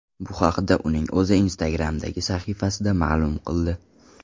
Bu haqda uning o‘zi Instagram’dagi sahifasida ma’lum qildi .